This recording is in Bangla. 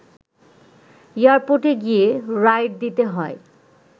এয়ারপোর্টে গিয়ে রাইড দিতে হয়